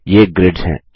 ये ग्रीड्स हैं